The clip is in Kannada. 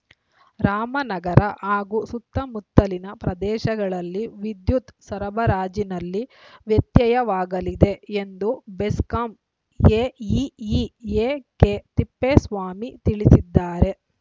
ರಾಮನಗರ ಹಾಗೂ ಸುತ್ತಮುತ್ತಲಿನ ಪ್ರದೇಶಗಳಲ್ಲಿ ವಿದ್ಯುತ್‌ ಸರಬರಾಜಿನಲ್ಲಿ ವ್ಯತ್ಯಯವಾಗಲಿದೆ ಎಂದು ಬೆಸ್ಕಾಂ ಎಇಇ ಎಕೆತಿಪ್ಪೇಸ್ವಾಮಿ ತಿಳಿಸಿದ್ದಾರೆ